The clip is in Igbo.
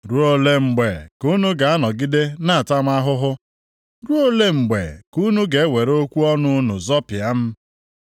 “Ruo ole mgbe ka unu ga-anọgide na-ata m ahụhụ? Ruo ole mgbe ka unu ga-ewere okwu ọnụ unu zọpịa m?